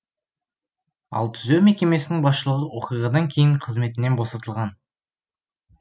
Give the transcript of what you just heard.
ал түзеу мекемесінің басшылығы оқиғадан кейін қызметінен босатылған